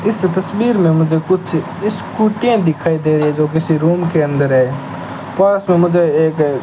इस तस्वीर में मुझे कुछ स्कूटियाँ दिखाई दे रही है जो किसी रूम के अंदर है पास में मुझे एक --